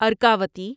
Arkavathi